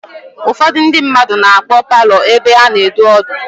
Ụfọdụ ndị mmadụ na-akpọ paalọ ebe a na-edu ọdụ.